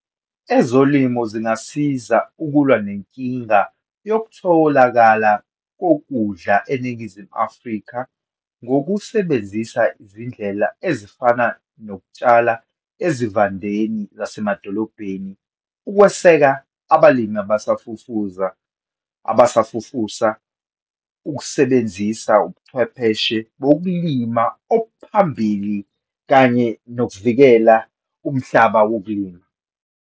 Ezolimo zingasiza ukulwa nenkinga yokutholakala kokudla eNingizimu Afrika, ngokusebenzisa izindlela ezifana nokutshala ezivandeni zasemadolobheni, ukweseka abalimi abasafufuza, abasafufusa, ukusebenzisa ubuchwepheshe bokulima obuphambili, kanye nokuvikela umhlaba wokulima.